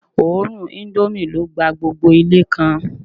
Òórùn indomie ló gba gbogbo Ilé kan